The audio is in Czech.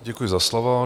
Děkuji za slovo.